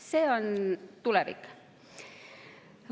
See on tulevik.